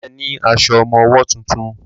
Ṣe ní aṣọ ọmọwọ́ tuntun?